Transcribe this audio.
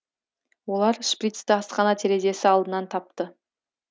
олар шприцті асхана терезесі алдынан тапты